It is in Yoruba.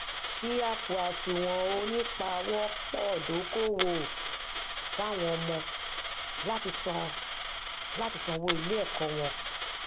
ṣí àpò àsùwọn onípawọpọ-dókòwò fún àwọn ọmọ láti san láti san owó iléẹkọ wọn